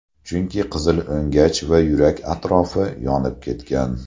Chunki qizil o‘ngach va yurak atrofi yonib ketgan.